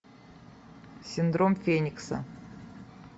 синдром феникса